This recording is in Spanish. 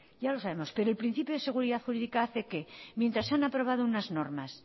ya lo sabemos pero el principio de seguridad jurídica hace que mientras se han aprobado unas normas